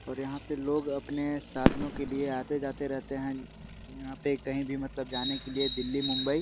और यहाँ पर लोग अपने साधनो के लिए आते-जाते रहते है यहाँ पे कही भी मतलब जाने के लिए दिल्ली मुंबई --